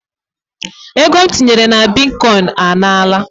Ego m tinyere na bitkoin a nala